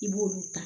I b'olu ta